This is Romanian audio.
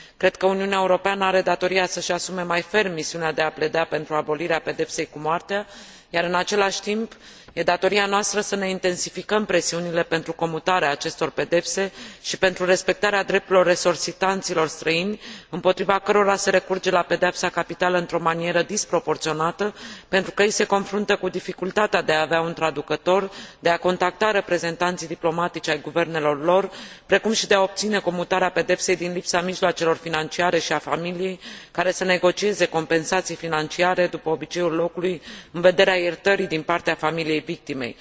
Cred că Uniunea Europeană are datoria să își asume mai ferm misiunea de a pleda pentru abolirea pedepsei cu moartea iar, în același timp, e datoria noastră să ne intensificăm presiunile pentru comutarea acestor pedepse și pentru respectarea drepturilor resortisanților străini, împotriva cărora se recurge la pedeapsa capitală într o manieră disproporționată, pentru că ei se confruntă cu dificultatea de a avea un traducător, de a contacta reprezentanții diplomatici ai guvernelor lor, precum și de a obține comutarea pedepsei din lipsa mijloacelor financiare și a familiei, care să negocieze compensații financiare, după obiceiul locului, în vederea iertării din partea familiei victimei.